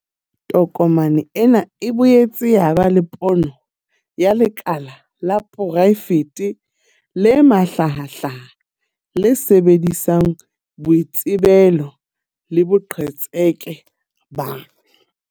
Tokomane ena e boetse ya ba le pono ya lekala la poraefete le mahlahahlaha, le sebedisang boitsebelo le boqhetseke ba.